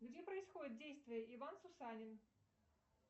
где происходит действие иван сусанин